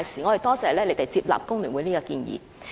我們多謝局方接納工聯會這項建議。